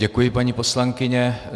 Děkuji, paní poslankyně.